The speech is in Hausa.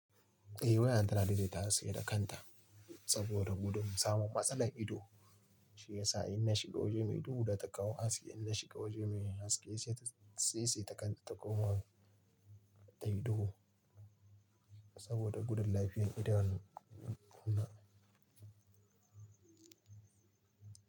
Eh wayan tana daidaita haske da kanta saboda gudun samun matsalar ido, shi yasa in na shiga waje mai duhu da takau haske in na shiga waje mai haske sai sai takan takoma ta ido saboda gudun lafiyan idanu na.